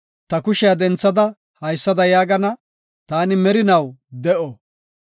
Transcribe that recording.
Ta kushiya denthada haysada yaagana; Taani merinaw de7o;